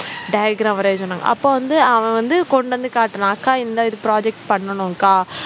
diagram வரைய சொன்னாங்க அப்ப வந்து அவன் வந்து கொண்டு வந்து காட்டினான் அக்கா இந்தா இது project பண்ணனும்கா